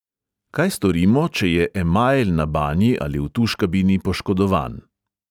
Kaj storimo, če je emajl na banji ali v tuš kabini poškodovan?